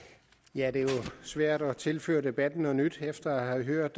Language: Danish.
det er jo svært at tilføre debatten noget nyt efter at have hørt